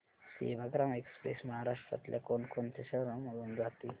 Sevagram express महाराष्ट्रातल्या कोण कोणत्या शहरांमधून जाते